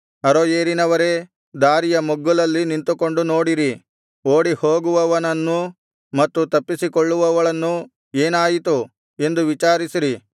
ಅರೋಯೇರಿನವರೇ ದಾರಿಯ ಮಗ್ಗುಲಲ್ಲಿ ನಿಂತುಕೊಂಡು ನೋಡಿರಿ ಓಡಿಹೋಗುವವನನ್ನೂ ಮತ್ತು ತಪ್ಪಿಸಿಕೊಳ್ಳುವವಳನ್ನೂ ಏನಾಯಿತು ಎಂದು ವಿಚಾರಿಸಿರಿ